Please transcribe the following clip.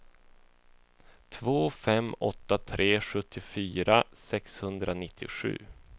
två fem åtta tre sjuttiofyra sexhundranittiosju